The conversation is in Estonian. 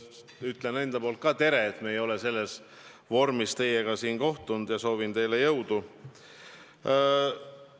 Ütlen enda poolt teile tere – me ei ole selles vormis teiega siin kohtunud – ja soovin teile jõudu!